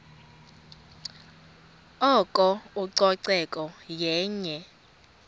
oko ucoceko yenye